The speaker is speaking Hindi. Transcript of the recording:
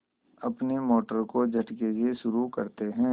अपनी मोटर को झटके से शुरू करते हैं